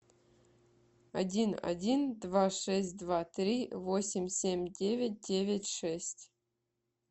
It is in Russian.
один один два шесть два три восемь семь девять девять шесть